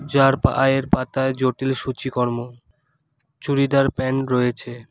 যার পায়ের পাতায় জটিল সূচিকর্ম চুড়িদার প্যান্ট রয়েছে।